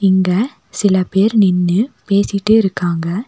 இங்கே சில பேர் நின்னு பேசிட்டே இருக்காங்க.